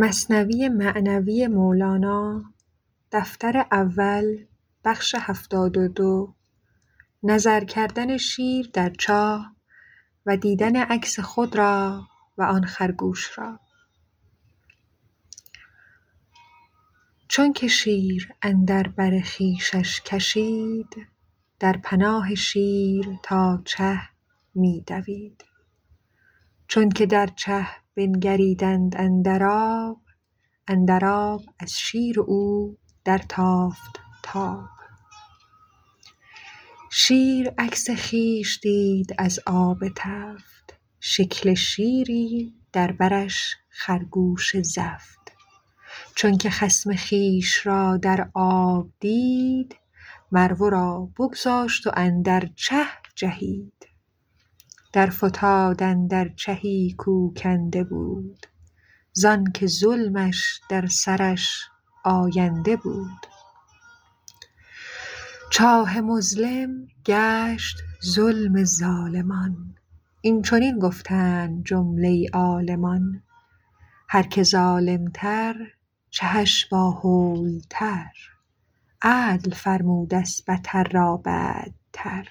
چونک شیر اندر بر خویشش کشید در پناه شیر تا چه می دوید چونک در چه بنگریدند اندر آب اندر آب از شیر و او در تافت تاب شیر عکس خویش دید از آب تفت شکل شیری در برش خرگوش زفت چونک خصم خویش را در آب دید مر ورا بگذاشت و اندر چه جهید در فتاد اندر چهی کو کنده بود زانک ظلمش در سرش آینده بود چاه مظلم گشت ظلم ظالمان این چنین گفتند جمله عالمان هر که ظالم تر چهش با هول تر عدل فرمودست بتر را بتر